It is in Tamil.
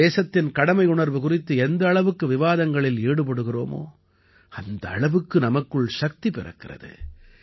நாம் தேசத்தின் கடமையுணர்வு குறித்து எந்த அளவுக்கு விவாதங்களில் ஈடுபடுகிறோமோ அந்த அளவுக்கு நமக்குள் சக்தி பிறக்கிறது